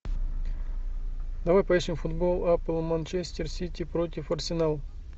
давай поищем футбол апл манчестер сити против арсенал